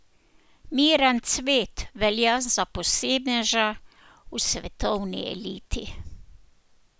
Miran Cvet velja za posebneža v svetovni eliti.